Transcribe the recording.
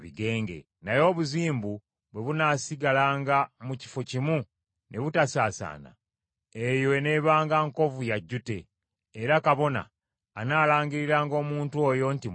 Naye obuzimbu bwe bunaasigalanga mu kifo kimu ne butasaasaana, eyo eneebanga nkovu ya jjute, era kabona anaalangiriranga omuntu oyo nti mulongoofu.